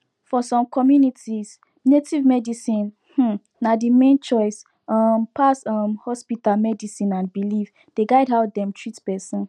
for some communities native medicine um na the main choice um pass um hospital medicine and belief dey guide how dem treat person